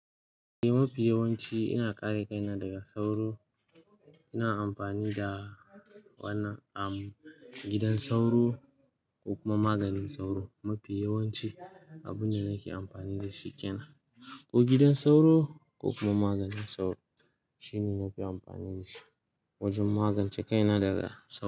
Mafi yawanci ina kare kaina daga sauro, ina amfani da wannan, am, gidan sauro ko kuma maganin sauro. Mafi yawanci abin da nake amfani da shi kenan ko gidan sauro ko kuma maganin sauro shine nafi amfani da shi wajen magance kaina daga sauro.